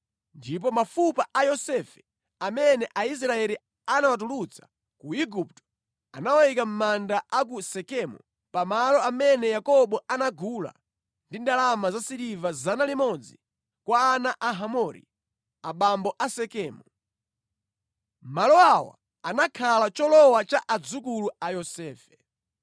Ndipo mafupa a Yosefe amene Aisraeli anawatulutsa ku Igupto anawayika mʼmanda a ku Sekemu pa malo amene Yakobo anagula ndi ndalama zasiliva 100 kwa ana a Hamori, abambo a Sekemu. Malo awa anakhala cholowa cha adzukulu a Yosefe.